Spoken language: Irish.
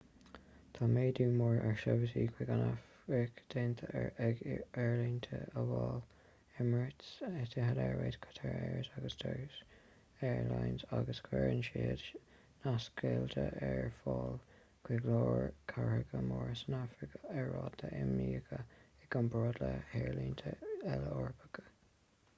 tá méadú mór ar sheirbhísí chuig an afraic déanta ag aerlínte amhail emirates etihad airways qatar airways & turkish airlines agus cuireann siad nasceitiltí ar fáil chuig go leor cathracha móra san afraic ar rátaí iomaíocha i gcomparáid le haerlínte eile eorpacha